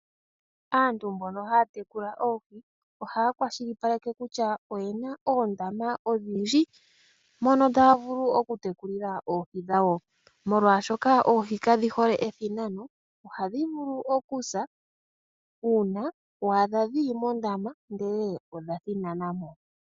Aantu mbono haya tekula oohi ohaya kwashilipakeke kutya oye na oondama odhindji mono taya vulu oku tekulila oohi dhawo. Molwaashoka oohi ka dhi hole ethinano, ohadhi vulu okusa uuna wa adha dhi li mondama ihe odha thinana mo.